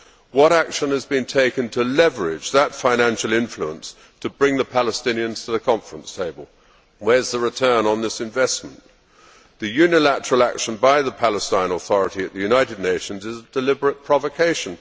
What action is being taken to leverage that financial influence to bring the Palestinians to the conference table? Where is the return on this investment? The unilateral action by the Palestinian Authority at the United Nations is a deliberate provocation.